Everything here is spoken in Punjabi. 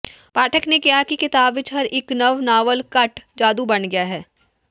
ਪਾਠਕ ਨੇ ਕਿਹਾ ਕਿ ਕਿਤਾਬ ਵਿੱਚ ਹਰ ਇੱਕ ਨਵ ਨਾਵਲ ਘੱਟ ਜਾਦੂ ਬਣ ਗਿਆ ਹੈ